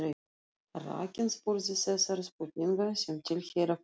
Rakarinn spurði þessara spurninga sem tilheyra faginu